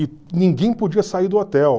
E ninguém podia sair do hotel.